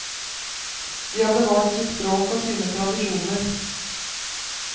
De har bevart sitt språk og sine tradisjoner.